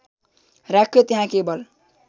राख्यो त्यहाँ केवल